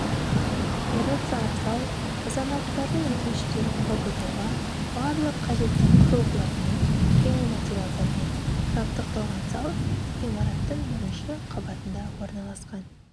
операциялық зал азаматтардың өтініштерін қабылдауға барлық қажетті құрылғылармен және материалдармен жабдықталған зал ғимараттың бірінші қабатында орналасқан